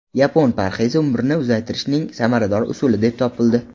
Yapon parhezi umrni uzaytirishning samarador usuli deb topildi.